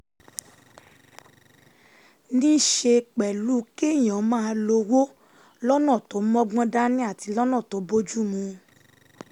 ní í ṣe pẹ̀lú kéèyàn máa lo owó lọ́nà tó mọ́gbọ́n dání àti lọ́nà tó bójú mu